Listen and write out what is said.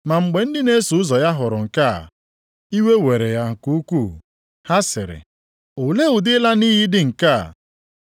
Ma mgbe ndị na-eso ụzọ ya hụrụ nke a, iwe were ha nke ukwuu. Ha sịrị, “Olee ụdị ịla nʼiyi dị nke a!